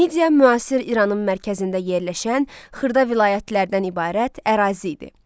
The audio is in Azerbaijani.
Midia müasir İranın mərkəzində yerləşən xırda vilayətlərdən ibarət ərazi idi.